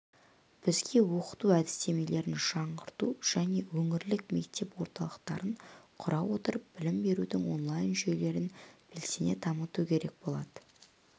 бізге оқыту әдістемелерін жаңғырту және өңірлік мектеп орталықтарын құра отырып білім берудің онлайн-жүйелерін белсене дамыту керек болады